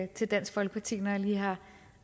til dansk folkeparti når jeg lige har